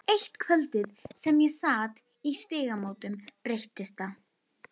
Eitt kvöldið sem ég sat í Stígamótum breyttist það.